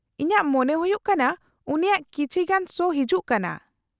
-ᱤᱧᱟᱹᱜ ᱢᱚᱱᱮ ᱦᱩᱭᱩᱜ ᱠᱟᱱᱟ ᱩᱱᱤᱭᱟᱜ ᱠᱤᱪᱷᱤ ᱜᱟᱱ ᱥᱳ ᱦᱤᱡᱩᱜ ᱠᱟᱱᱟ ᱾